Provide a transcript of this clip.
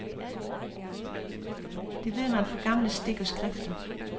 Det ved man fra gamle stik og skrifter.